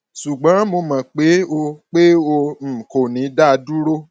ṣùgbọn mo mọ pé o pé o um kò ní dá a dúró